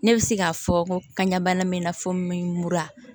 Ne bɛ se k'a fɔ ka ɲa bana mɛn n na fo mura